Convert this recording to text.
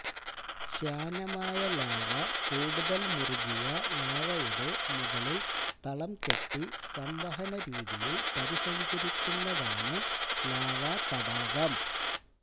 ശ്യാനമായ lava കൂടുതൽ മുറുകിയ ലാവയുടെ മുകളിൽ തളംകെട്ടി സംവഹനരീതിയിൽ പരിസഞ്ചരിക്കുന്നതാണ് ലാവാതടാകം